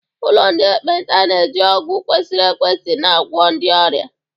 Ụlọ ndị ekpenta na-eji ọgwụ kwesịrị ekwesị na-agwọ ndị ọrịa.